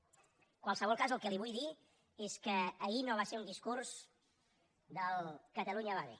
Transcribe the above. en qualsevol cas el que li vull dir és que ahir no va ser un discurs del catalunya va bé